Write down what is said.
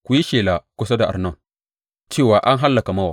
Ku yi shela kusa da Arnon cewa an hallaka Mowab.